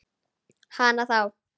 Hana þá.